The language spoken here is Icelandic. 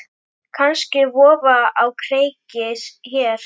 Kannski vofa á kreiki hér.